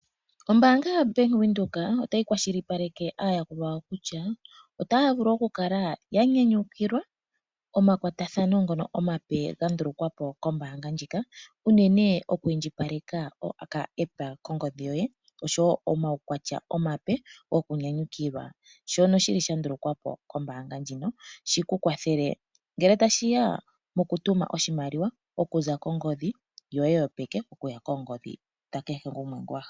Ombanaga yoBank Windhoek otayi kwashilipaleke aayakulwa yawo kutya otaya vulu okukala ya nyanyukilwa omakwatathano ngono omape ga ndulukwa po kombaanga ndjika unene oku indjipaleka epandja lyopamalungula mongodhi yoye (okaAppa) noshowo wo omaukwatya omape okunyanyukilwa, shono shi li sha ndulukwa po kombaanga ndjino shi ku kwathele ngele tashi ya mokutuma oshimaliwa okuza kongodhi yoye yopeke okuya kongodhi dha kehe gumwe ngoka wa hala.